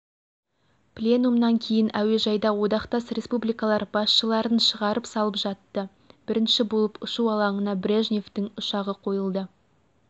пленумнан кейін әуежайда одақтас республикалар басшыларын шығарып салып жатты бірінші болып ұшу алаңына брежневтің ұшағы қойылды